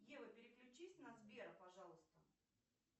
ева переключись на сбера пожалуйста